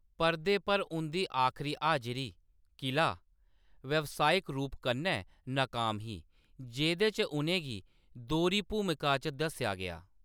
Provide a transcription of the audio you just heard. परदे पर उं'दी आखरी हाजरी, किला, व्यावसायिक रूप कन्नै नाकाम ही, जेह्‌‌‌दे च उʼनें गी दोह्‌री भूमिका च दस्सेआ गेआ।